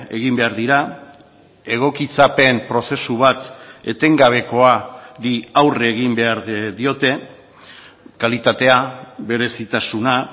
egin behar dira egokitzapen prozesu bat etengabekoari aurre egin behar diote kalitatea berezitasuna